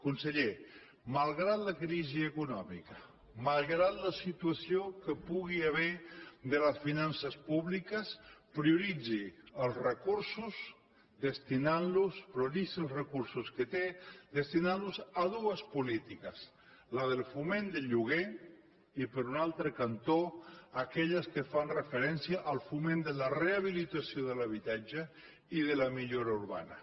conseller malgrat la crisi econòmica malgrat la situació que hi pugui haver de les finances públiques prioritzi els recursos que té destinant los a dues polítiques la del foment del lloguer i per un altre cantó aquelles que fan referència al foment de la rehabilitació de l’habitatge i de la millora urbana